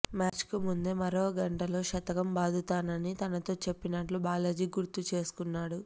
మ్యాచ్కు ముందే మరో గంటలో శతకం బాదుతానని తనతో చెప్పినట్లు బాలాజీ గుర్తుచేసుకున్నాడు